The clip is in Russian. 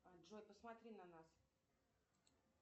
джой посмотри на нас